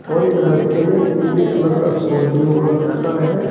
और एक लड़के ने पीले कलर का शॉल भी ओढ़ रखा है।